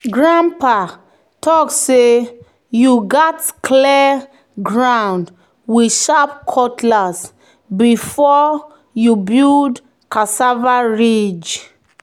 "grandpa talk say you gats clear ground with sharp cutlass before you build cassava ridge."